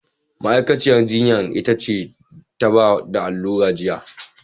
Ma'aikaciyar jinya ita ce ta bata allura jiya